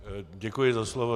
Děkuji za slovo.